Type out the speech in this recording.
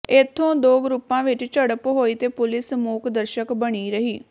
ਇੱਥੇ ਦੋ ਗਰੁੱਪਾਂ ਵਿੱਚ ਝੜਪ ਹੋਈ ਤੇ ਪੁਲਿਸ ਮੂਕ ਦਰਸ਼ਕ ਬਣੀ ਰਹੀ